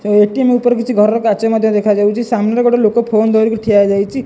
ଏଠି ମୁଁ ଉପରେ କିଛି ଘରର କାର୍ଯ୍ୟ ମଧ୍ୟ ଦେଖାଯାଉଛି ସାମ୍ନାରେ ଗୋଟିଏ ଲୋକ ଫୋନଧରିକି ଠିଆହେଇଯାଇଛି।